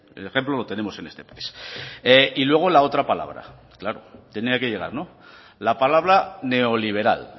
el ejemplo lo tenemos en este país y luego la otra palabra claro tenía que llegar la palabra neoliberal